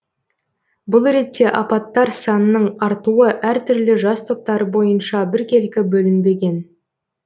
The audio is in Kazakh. бұл ретте апаттар санының артуы әртүрлі жас топтары бойынша біркелкі бөлінбеген